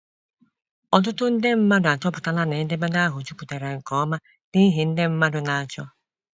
Ọtụtụ nde mmadụ achọpụtala na edemede ahụ juputara nke ọma n'ihe ndị mmadụ na -achọ.